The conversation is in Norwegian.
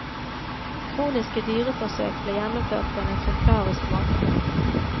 Kroniske dyreforsøk ble gjennomført på en eksemplarisk måte.